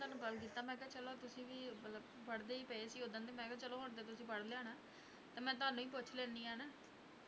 ਤੁਹਾਨੂੰ call ਕੀਤਾ ਮੈਂ ਕਿਹਾ ਚਲੋ ਤੁਸੀਂ ਵੀ ਮਤਲਬ ਪੜ੍ਹਦੇ ਹੀ ਪਏ ਸੀ ਉਦਣ ਤੇ ਮੈਂ ਕਿਹਾ ਚਲੋ ਹੁਣ ਤਾਂ ਤੁਸੀਂ ਪੜ੍ਹ ਲਿਆ ਹੋਣਾ, ਤੇ ਮੈਂ ਤੁਹਾਨੂੰ ਹੀ ਪੁੱਛ ਲੈਂਦੀ ਹਾਂ ਹਨਾ,